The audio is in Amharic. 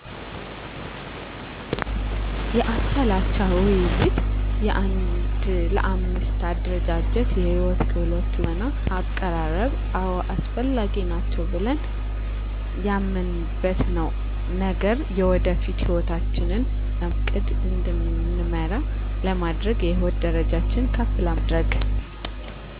የአቻ ለአቻ ውይይት የአንድ ለአምስት አደረጃጀት የህይወት ክህሎት ትወና አቀራረብ አወ አስፈላጊ ናቸው ብለን ያመንበት ነገር የወደፊት ህይወታችን ለማስተካከል በእቅድ እንድንመራ ለማድረግ የህይወት ደረጃችን ከፍ ለማድረግ